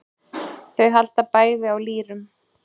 Þau halda bæði á lýrum.